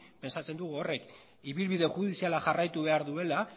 pentsatzen dugu horrek ibilbide judiziala jarraitu behar duela